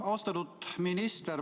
Austatud minister!